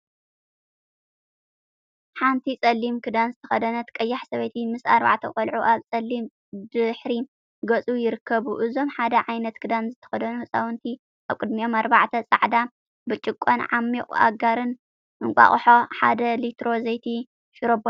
ሓንቲ ጸሊም ክዳን ዝተከደነት ቀያሕ ሰበይቲ ምስ ኣርባዕተ ቆልዑ ኣብ ጸሊም ድሕረ ገጽ ይርከቡ። እዞም ሓደ ዓይነት ክዳን ዝተከደኑ ሕጻውንቲ ኣብ ቅድሚኦም ኣርባዕተ ጻዕዳ ብርጭቆን ዓሚቅ ኣጋርን፣ እንቃቁሖ፣ ሓደ ሊትሮ ዘይቲ፣ ሽሮቦታትን ዝመሳሰሉ ይርከብዎም።